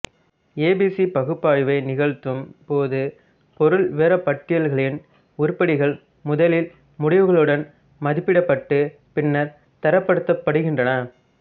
எ B C பகுப்பாய்வை நிகழ்த்தும் போது பொருள் விவரப்பட்டியல்களின் உருப்படிகள் முதலில் முடிவுகளுடன் மதிப்பிடப்பட்டு பின்னர் தரப்படுத்தப்படுகின்றன